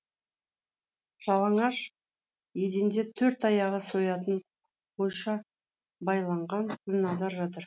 жалаңаш еденде төрт аяғы соятын қойша байланған құлназар жатыр